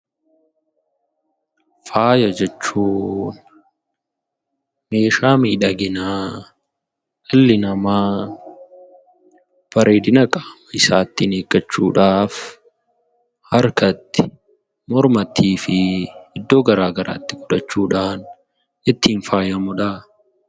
Faaya jechuun meeshaa miidhaginaa dhalli namaa bareedina qaama isaa ittiin eeggachuuf harkatti, mormattii fi iddoo garaagaraatti godhachuudhaan ittiin faayamudha.